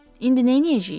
İndi neyləyəcəyik?